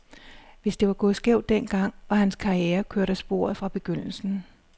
Hvis det var gået skævt den gang, var hans karriere kørt af sporet fra begyndelsen.